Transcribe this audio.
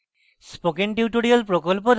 spoken tutorial প্রকল্প the